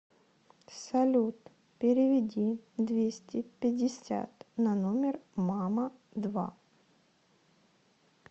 салют переведи двести пятьдесят на номер мама два